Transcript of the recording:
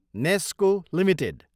Nesco Ltd